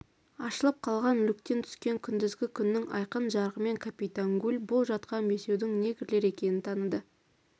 ашылып қалған люктен түскен күндізгі күннің айқын жарығымен капитан гуль бұл жатқан бесеудің негрлер екенін таныды